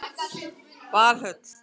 Valhöll